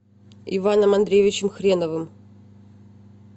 иваном андреевичем хреновым